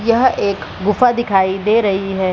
यह एक गुफा दिखाई दे रही है।